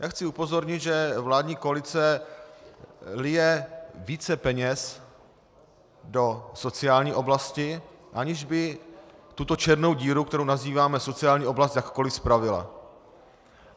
Já chci upozornit, že vládní koalice lije více peněz do sociální oblasti, aniž by tuto černou díru, kterou nazýváme sociální oblast, jakkoliv spravila.